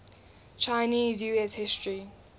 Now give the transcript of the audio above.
chinese us history